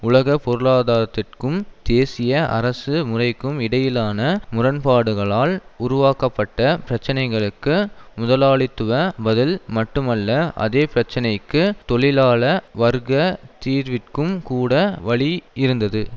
உலகப்பொருளாதாரத்திற்கும் தேசிய அரசு முறைக்கும் இடையிலான முரண்பாடுகளால் உருவாக்கப்பட்ட பிரச்சனைகளுக்கு முதலாளித்துவ பதில் மட்டுமல்ல அதே பிரச்சனைக்கு தொழிலாள வர்க்க தீர்விற்கும் கூட வழியிருந்தது